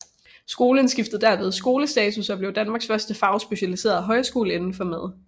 Skolen skiftede derved skolestatus og blev Danmarks første fagspecialiserede højskole indenfor mad